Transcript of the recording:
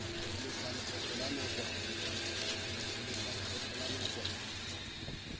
ho lefa lekgetho la nakwana